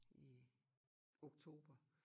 I oktober